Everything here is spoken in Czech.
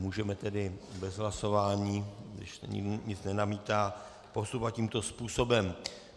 Můžeme tedy bez hlasování, když nikdo nic nenamítá, postupovat tímto způsobem.